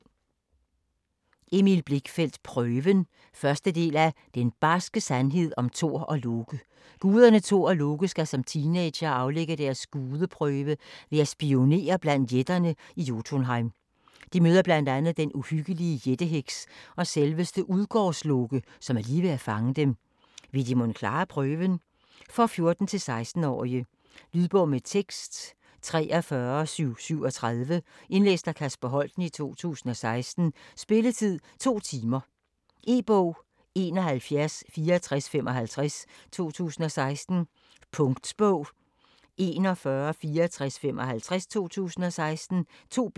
Blichfeldt, Emil: Prøven 1. del af Den barske sandhed om Thor+Loke. Guderne Thor og Loke skal som teenagere aflægge deres "Gudeprøve" ved at spionere blandt jætterne i Jotunheim. De møder blandt andet den uhyggelige jætte-heks og selveste Udgårdsloke, som er lige ved at fange dem. Vil de mon klare prøven? For 14-16 år. Lydbog med tekst 43737 Indlæst af Kasper Holten, 2016. Spilletid: 2 timer, 0 minutter. E-bog 716455 2016. Punktbog 416455 2016. 2 bind.